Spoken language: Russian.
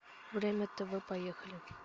время тв поехали